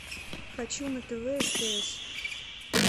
хочу на тв стс